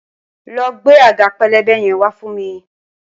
lọ gbé àga pélébé yẹn wa fún mi!